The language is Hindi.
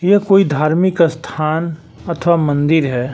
यह कोई धार्मिक अस्थान अथवा मंदिर है।